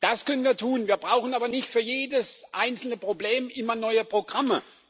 Das können wir tun, wir brauchen aber nicht für jedes einzelne Problem immer neue Programme.